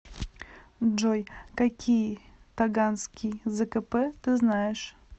джой какие таганский зкп ты знаешь